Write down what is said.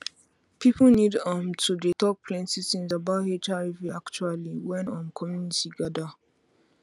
people need um to dey talk plenty things about hiv actually when um community gather